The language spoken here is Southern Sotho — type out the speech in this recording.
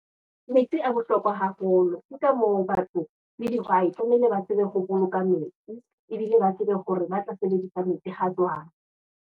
Metsi a bohlokwa haholo ke ka moo batho, le dihwai tlameha ba tsebe ho boloka metsi, ebile ba tsebe hore ba tla sebedisa metsi hajwang.